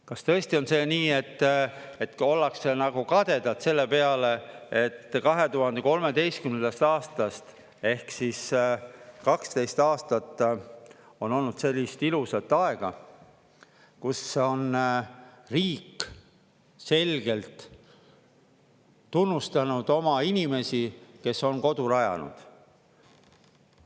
Kas tõesti on see nii, et ka ollakse nagu kadedad selle peale, et 2013. aastast ehk siis 12 aastat on olnud sellist ilusat aega, kus on riik selgelt tunnustanud oma inimesi, kes on kodu rajanud?